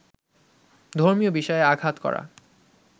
ধর্মীয় বিষয়ে আঘাত করা